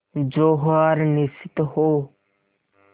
जो हार निश्चित हो